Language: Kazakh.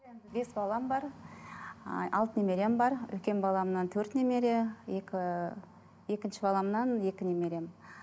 бес балам бар ы алты немерем бар үлкен баламнан төрт немере екі екінші баламнан екі немерем